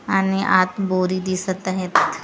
आणि आत बोरी दिसत आहेत.